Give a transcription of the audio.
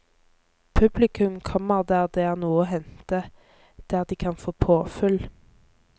Publikum kommer der det er noe å hente, der de kan få påfyll.